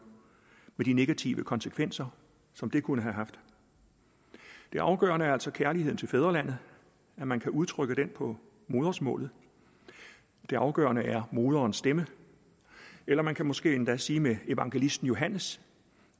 med de negative konsekvenser som det kunne have haft det afgørende er altså kærligheden til fædrelandet at man kan udtrykke den på modersmålet det afgørende er moderens stemme eller man kan måske endda sige med evangelisten johannes